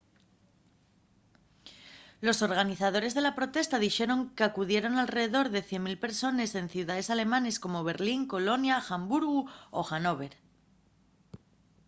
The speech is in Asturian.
los organizadores de la protesta dixeron qu’acudieron alredor de 100.000 persones en ciudaes alemanes como berlín colonia hamburgu y hannover